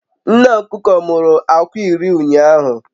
Nne okuko muru akwa iri ụnyahụ